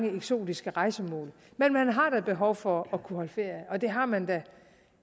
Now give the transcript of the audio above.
eksotiske rejsemål men man har da behov for at kunne holde ferie og det har man